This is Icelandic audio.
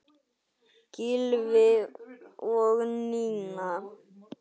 Gylfi og Nína.